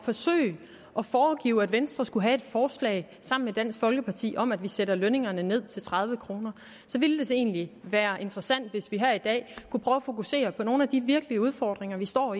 forsøge at foregive at venstre skulle have et forslag sammen med dansk folkeparti om at sætte lønningerne ned til tredive kr ville det egentlig være interessant hvis vi her i dag kunne prøve at fokusere på nogle af de virkelige udfordringer vi står